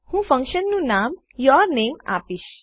હું ફન્કશનનું નામ યુરનેમ આપીશ